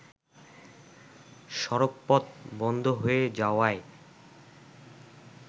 সড়কপথ বন্ধ হয়ে যাওয়ায়